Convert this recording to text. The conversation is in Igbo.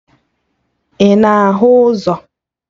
Ị na-ahụ ụzọ?